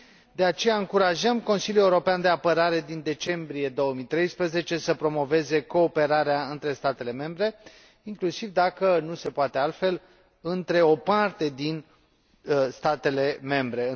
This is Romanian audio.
De aceea, încurajăm Consiliul European de Apărare din decembrie 2013 să promoveze cooperarea între statele membre, inclusiv, dacă nu se poate altfel, între o parte din statele membre.